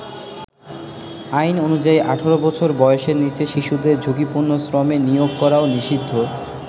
আইন অনুযায়ী ১৮ বছর বয়েসের নীচের শিশুদের ঝুঁকিপূর্ণ শ্রমে নিয়োগ করাও নিষিদ্ধ।